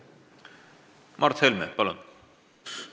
Mart Helme, palun!